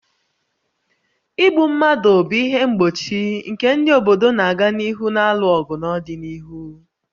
Igbu mmadụ bụ ihe mgbochi nke ndị obodo na-aga n'ihu na-alụ ọgụ n'ọdịnihu